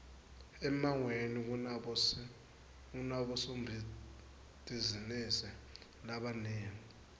emangweni kunabosombitizinisi labanengi